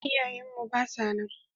Iyaye mu ba sa nan.